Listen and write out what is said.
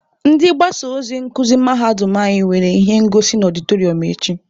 Ndị mgbasa ozi nkuzi mahadum anyị nwere ihe ngosi na ọdịtọrịọm echi.